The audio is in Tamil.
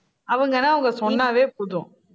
அவங்கன்னா அவங்க சொன்னாவே போதும்